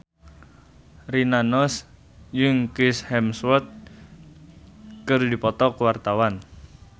Rina Nose jeung Chris Hemsworth keur dipoto ku wartawan